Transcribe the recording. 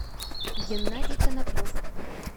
геннадий коноплев